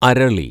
അരളി